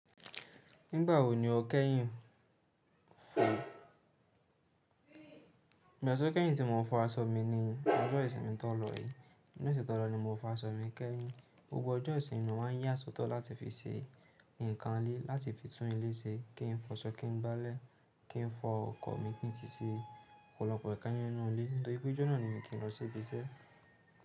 Nígbà wo ni o kẹ́yìn fò? Ìgbà tó jẹ́ pé ìsin mo fọ aṣọ mi ni ọjọ́ ìsinmi tó lọ yìí. Ni ọ̀sẹ̀ tó lọ ni mo fọ aṣọ mi kẹ́yìn. Gbogbo ọjọ́ ìsinmi mo máa ń yà sọ́tọ̀ láti fi ṣe nǹkan ilé, láti fi tún ilé ṣe, kí n fọ aṣọ, kí n gbálẹ̀, kí n fọ ọkọ̀ mi kí n sì ṣe ọ̀pọ̀lọpọ̀ ẹ̀ka yẹn nínú ilé. Nítorí pé ọjọ́ náà ni mi kí n lọ sí ibi iṣẹ́.